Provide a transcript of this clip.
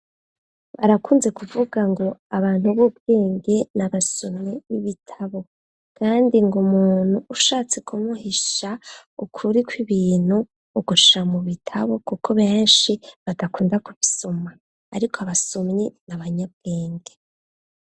barakunze kuvuga ngo abantu b'ubwenge n'abasomyi b'ibitabo kandi ngo muntu ushatse kumuhisha ukuri kw'ibintu uguhisha mu bitabo kuko benshi badakunda kubisoma ariko abasomyi n'abanyabwenge